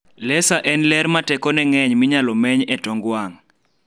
lesa en ler ma tekone ng'eny minyalo meny etong wang'